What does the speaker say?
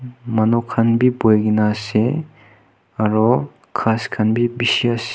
manu khan bi buhina ase aro ghas khan bishi ase.